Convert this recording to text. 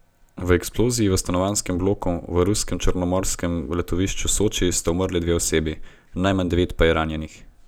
V eksploziji v stanovanjskem bloku v ruskem črnomorskem letovišču Soči sta umrli dve osebi, najmanj devet pa je ranjenih.